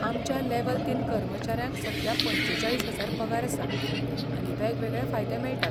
आमच्या लेव्हल तीन कर्मचाऱ्यांक सध्या पंचेचाळीस हजार पगार आसा आनी वेगवेगळे फायदे मेळटात.